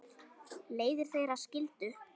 Leiðir þeirra skildu.